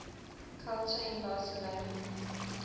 culture in barcelona